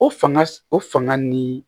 O fanga o fanga ni